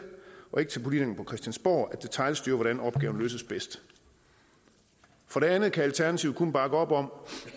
og ikke til politikerne på christiansborg at detailstyre hvordan opgaverne løses bedst for det andet kan alternativet kun bakke op om